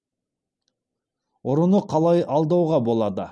ұрыны қалай алдауға болады